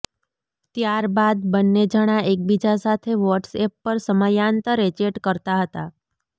ત્યાર બાદ બંન્ને જણા એકબીજા સાથે વોટ્સએપ પર સમયાંતરે ચેટ કરતા હતા